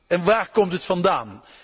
en waar komt het vandaan?.